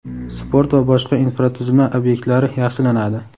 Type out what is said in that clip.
sport va boshqa infratuzilma obyektlari yaxshilanadi.